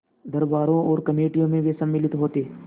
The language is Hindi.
दरबारों और कमेटियों में वे सम्मिलित होते